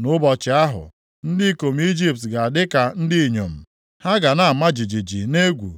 Nʼụbọchị ahụ, ndị ikom Ijipt ga-adị ka ndị inyom, ha ga na-ama jijiji nʼegwu